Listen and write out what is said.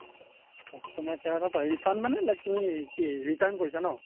customer care ক পাৰি refund মানে like তুমি কি return কৰিছা ন ?